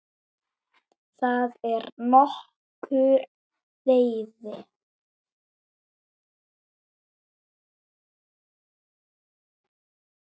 Þar er nokkur veiði.